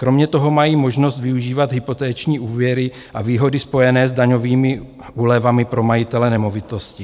Kromě toho mají možnost využívat hypoteční úvěry a výhody spojené s daňovými úlevami pro majitele nemovitosti.